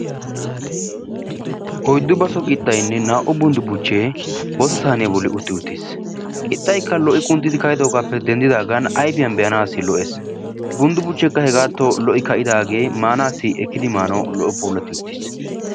Oyddu baso qixaynne naa'u bundu buchchay boottaa sayniyaa bollan utti-uttiis. Qixaykka lo'i qunxxidi kaidogappe denddidagan ayfiyan beanasi lo'ees. bundu buchchekka hegatto lo'i kaidage maanasi ekkidi maanasi lo'o puulatti uttiis.